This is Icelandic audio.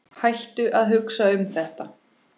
Hættu að hugsa um þetta.